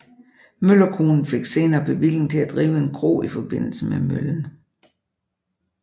Møllerkonen fik senere bevilling til at drive en kro i forbindelse med møllen